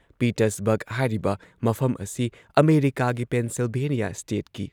Pittsburgh ꯍꯥꯏꯔꯤꯕ ꯃꯐꯝ ꯑꯁꯤ ꯑꯃꯦꯔꯤꯀꯥꯒꯤ ꯄꯦꯟꯁꯤꯜꯚꯦꯅꯤꯌꯥ ꯁ꯭ꯇꯦꯠꯀꯤ